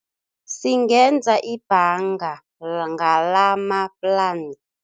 Singenza ibhanga ngalamaplan